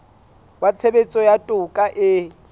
wa tshebetso ya toka e